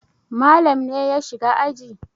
Malam ne ya shiga aji.